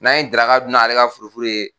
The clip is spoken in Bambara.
N'an ye daraka dun n'ale ka furu furu ye.